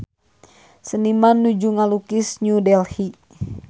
Seniman nuju ngalukis New Delhi